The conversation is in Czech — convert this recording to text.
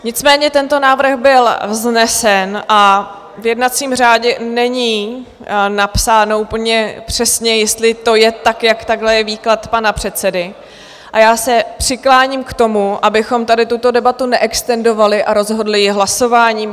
Nicméně tento návrh byl vznesen a v jednacím řádě není napsáno úplně přesně, jestli to je tak, jak takhle je výklad pana předsedy, a já se přikláním k tomu, abychom tady tuto debatu neextendovali a rozhodli ji hlasováním.